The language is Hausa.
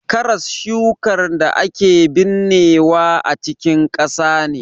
Karas shukar da ake binnewa a cikin ƙasa ne.